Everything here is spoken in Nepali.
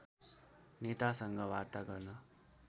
नेतासँग वार्ता गर्न